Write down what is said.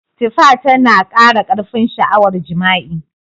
Tifa tana kara karfin sha'awar jima'i.